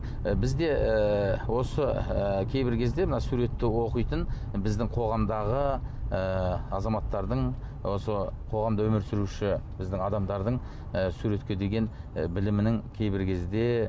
бізде ыыы осы ы кейбір кезде мына суретті оқитын біздің қоғамдағы ы азаматтардың осы қоғамда өмір сүруші біздің адамдардың ы суретке деген білімінің кейбір кезде